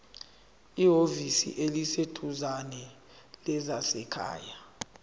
ehhovisi eliseduzane lezasekhaya